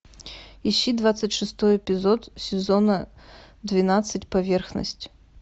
ищи двадцать шестой эпизод сезона двенадцать поверхность